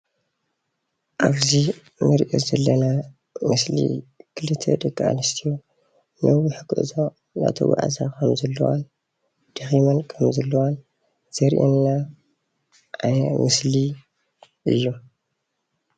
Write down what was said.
ኣብዚ እንሪኦ ዘለና ምስሊ ክልተ ደቂኣንስትዮ ነዊሕ ጉዕዞ እናተጓዓዛ ከም ዘለዋን ደኺመን ከም ዘለዋን ዘርእየና ምስሊ እዩ።